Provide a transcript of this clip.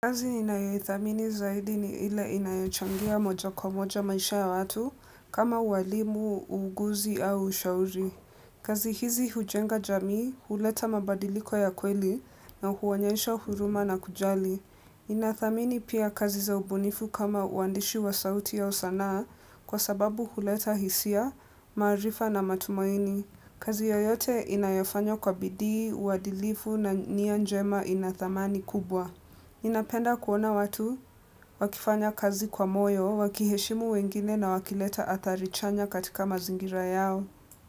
Kazi ninayoithamini zaidi ni ile inayochangia moja kwa moja maisha ya watu kama uwalimu, uuguzi au ushauri. Kazi hizi hujenga jamii, huleta mabadiliko ya kweli na huonyesha huruma na kujali. Ninathamini pia kazi zaubunifu kama uandishi wa sauti ausanaa kwa sababu huleta hisia, maarifa na matumaini. Kazi yoyote inayofanywa kwa bidii, uadilifu na nianjema inadhamani kubwa. Ninapenda kuona watu, wakifanya kazi kwa moyo, wakiheshimu wengine na wakileta adharichanya katika mazingira yao.